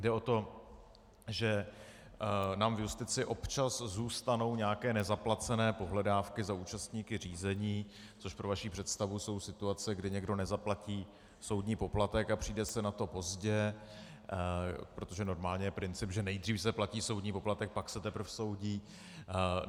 Jde o to, že nám v justici občas zůstanou nějaké nezaplacené pohledávky za účastníky řízení, což pro vaši představu jsou situace, kdy někdo nezaplatí soudní poplatek a přijde se na to pozdě, protože normálně je princip, že nejdřív se platí soudní poplatek, pak se teprv soudí.